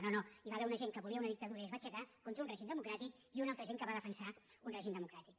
no no hi va haver una gent que volia una dictadura i es va aixecar contra un règim democràtic i una altra gent que va defensar un règim democràtic